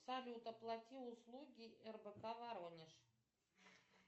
салют оплати услуги рбк воронеж